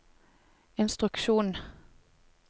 instruksjon